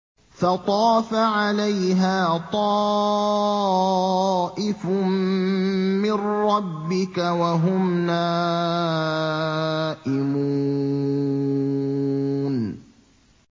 فَطَافَ عَلَيْهَا طَائِفٌ مِّن رَّبِّكَ وَهُمْ نَائِمُونَ